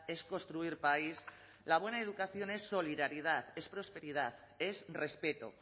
es construir país la buena educación es solidaridad es prosperidad es respeto